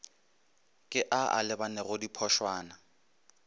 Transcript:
ke a a lebanego diphošwana